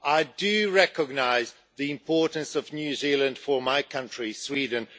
I recognise the importance of New Zealand for my country, Sweden.